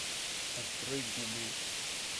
открой гугл